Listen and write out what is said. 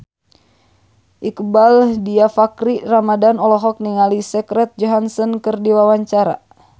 Iqbaal Dhiafakhri Ramadhan olohok ningali Scarlett Johansson keur diwawancara